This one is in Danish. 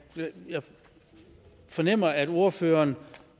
fornemmer at ordføreren